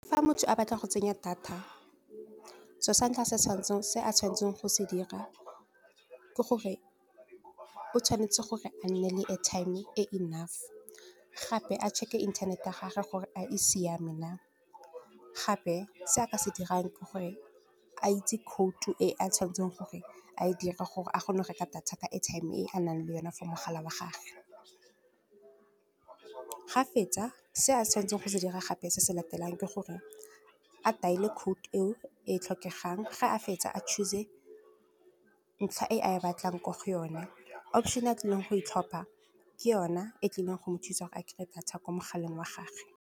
Fa motho a batla go tsenya data so sa ntlha se a tshwanetseng go se dira ke gore, o tshwanetse gore a nne le airtime e enough, gape a check-e internet-e ya gage gore a e siame na. Gape se a ka se dirang ke gore a itse khoutu e a tshwanetseng gore a e dira, gore a kgone go reka data ka airtime e a nang le yone for mogala wa gagwe. Ga fetsa se a tshwanetseng go se dira gape se se latelang ke gore, a dail-e code e o e tlhokegang, ga a fetsa a choose-e ntlha e a e batlang ko go yone. Option-e a tlileng go e tlhopha ke yona e tlileng go mo thusa go a kry-e data kwa mogaleng wa gagwe.